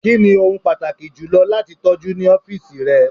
Kini ohun pataki julọ lati tọju ni ọfiisi rẹ?